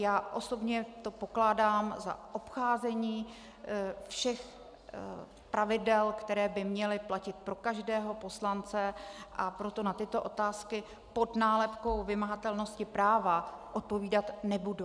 Já osobně to pokládám za obcházení všech pravidel, která by měla platit pro každého poslance, a proto na tyto otázky pod nálepkou vymahatelnosti práva odpovídat nebudu.